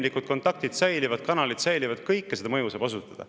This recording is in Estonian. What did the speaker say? Inimlikud kontaktid säilivad, kanalid säilivad, kogu seda mõju saab avaldada.